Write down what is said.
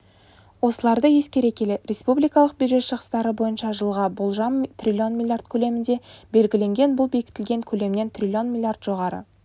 осыларды ескере келе республикалық бюджет шығыстары бойынша жылға болжам трлн млрд көлемінде белгіленген бұл бекітілген көлемнен трлн млрд жоғары